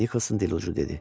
Nikolson dedi.